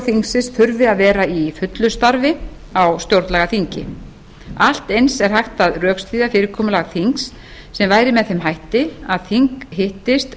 þingsins þurfi að vera í fullu starfi á stjórnlagaþingi allt eins er hægt að rökstyðja fyrirkomulag þings sem væri með þeim hætti að þing hittist